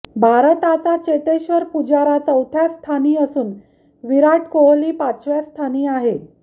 भारताचा चेतेश्वर पुजारा चौथ्या स्थानी असून विराट कोहली पाचव्या स्थानी आहे